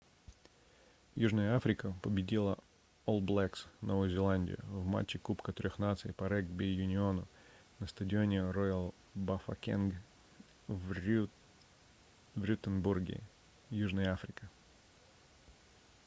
южная африка победила олл блэкс новую зеландию в матче кубка трех наций по регби-юниону на стадионе роял бафокенг в рюстенбурге южная африка